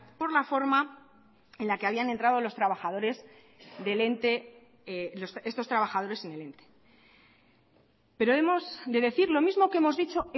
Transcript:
por la forma en la que habían entrado los trabajadores del ente estos trabajadores en el ente pero hemos de decir lo mismo que hemos dicho